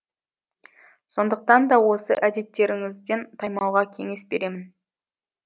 сондықтан да осы әдеттеріңізден таймауға кеңес беремін